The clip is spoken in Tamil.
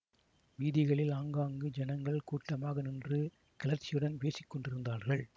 வீதிகளில் ஆங்காங்கு ஜனங்கள் கூட்டமாக நின்று கிளர்ச்சியுடன் பேசி கொண்டிருந்தார்கள்